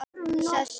Sest upp.